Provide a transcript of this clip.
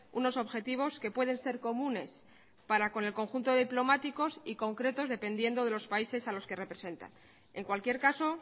unos objetivos que pueden ser comunes para con el conjunto de diplomáticos y concretos dependiendo de los países a los que representan en cualquier caso